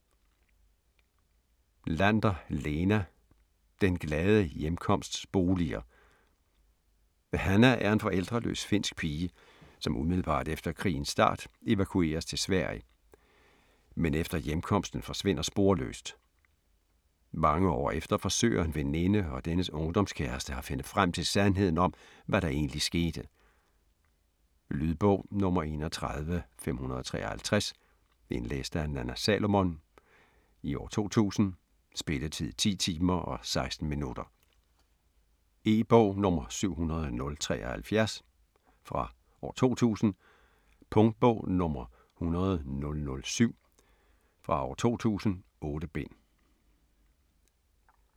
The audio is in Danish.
Lander, Leena: Den glade hjemkomsts boliger Hanna er en forældreløs finsk pige, som umiddelbart efter krigens start evakueres til Sverige, men efter hjemkomsten forsvinder sporløst. Mange år efter forsøger en veninde og dennes ungdomskæreste at finde frem til sandheden om, hvad der egentlig skete. Lydbog 31553 Indlæst af Nanna Salomon, 2000. Spilletid: 10 timer, 16 minutter. E-bog 700013 2000. Punktboge 100007 2000. 8 bind.